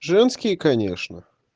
женские конечно